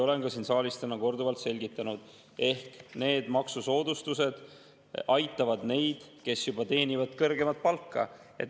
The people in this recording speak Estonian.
Olen ka siin saalis täna korduvalt selgitanud: need maksusoodustused aitavad neid, kes juba teenivad kõrgemat palka.